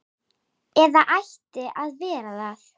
Eða ætti að vera það.